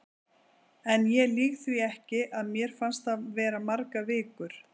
En ég lýg því ekki, að mér fannst það vera margar vikur.